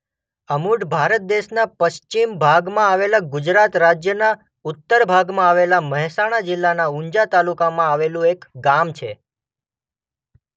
અમુઢ ભારત દેશના પશ્ચિમ ભાગમાં આવેલા ગુજરાત રાજ્યના ઉત્તર ભાગમાં આવેલા મહેસાણા જિલ્લાના ઉંઝા તાલુકામાં આવેલું એક ગામ છે.